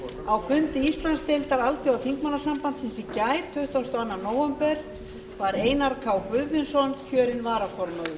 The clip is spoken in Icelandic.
á fundi íslandsdeildar alþjóðaþingmannasambandsins í gær tuttugasta og annan nóvember var einar k guðfinnsson kjörinn varaformaður